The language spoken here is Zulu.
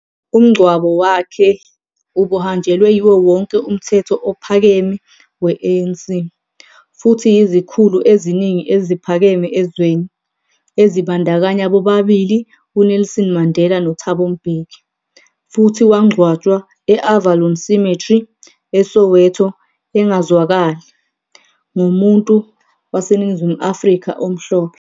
Umngcwabo wakhe ubuhanjelwe yiwo wonke umthetho ophakeme we-ANC, futhi yizikhulu eziningi eziphakeme ezweni, ezibandakanya bobabili uNelson Mandela noThabo Mbeki, futhi wangcwatshwa e- Avalon Cemetery, eSoweto, engazwakali, ngomuntu waseNingizimu Afrika omhlophe..